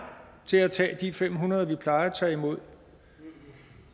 til at tage de fem hundrede vi plejer at tage imod